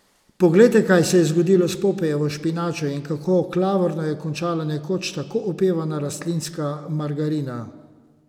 Poglejte, kaj se je zgodilo s Popajevo špinačo ali kako klavrno je končala nekoč tako opevana rastlinska margarina!